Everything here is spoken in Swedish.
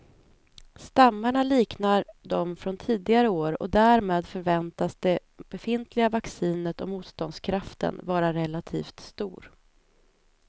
Stammarna liknar de från tidigare år och därmed förväntas det befintliga vaccinet och motståndskraften vara relativt stor.